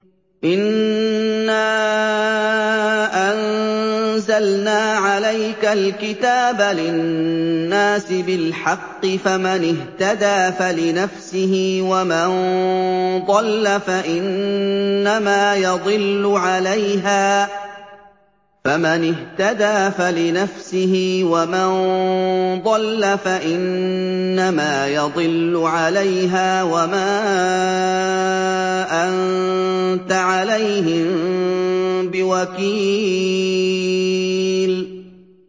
إِنَّا أَنزَلْنَا عَلَيْكَ الْكِتَابَ لِلنَّاسِ بِالْحَقِّ ۖ فَمَنِ اهْتَدَىٰ فَلِنَفْسِهِ ۖ وَمَن ضَلَّ فَإِنَّمَا يَضِلُّ عَلَيْهَا ۖ وَمَا أَنتَ عَلَيْهِم بِوَكِيلٍ